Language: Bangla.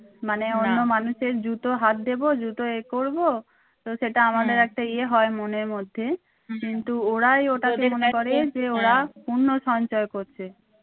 মানে অন্য মানুষের জুতো হাত দেবো জুতো এ করবো তো সেটা আমাদের একটা ইয়ে হয় মনের মধ্যে কিন্তু ওরাই ওটাকে যে ওরা পূণ্য সঞ্চয় করছে